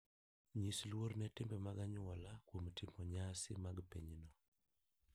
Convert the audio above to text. Nyis luor ne timbe mag anyuola kuom timo nyasi mag pinyno.